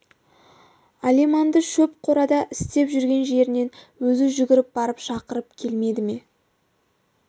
алиманды шөп қорада істеп жүрген жерінен өзі жүгіріп барып шақырып келмеді ме